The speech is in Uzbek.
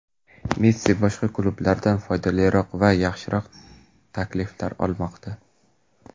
Messi boshqa klublardan foydaliroq va yaxshiroq takliflar olmoqda.